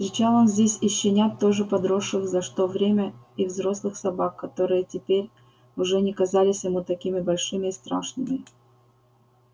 встречал он здесь и щенят тоже подросших за что время и взрослых собак которые теперь уже не казались ему такими большими и страшными